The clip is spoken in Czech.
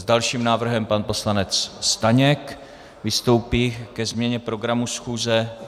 S dalším návrhem pan poslanec Staněk vystoupí ke změně programu schůze.